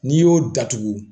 N'i y'o datugu